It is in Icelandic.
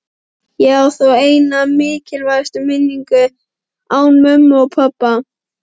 Ég á þó eina mikilsverða minningu án mömmu og pabba.